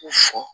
U fɔ